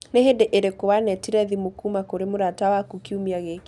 Nĩ hĩndĩ ĩrĩkũ wanetire thimũ kuuma kũrĩ mũrata waku kiumia gĩkĩ?